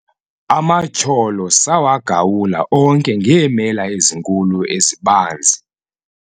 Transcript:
amatyholo sawagawula onke ngeemela ezinkulu ezibanzi